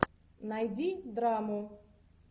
найди драму